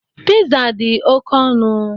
Piza dị oke ọnụ.